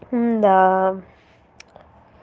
да